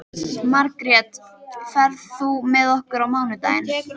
Margrjet, ferð þú með okkur á mánudaginn?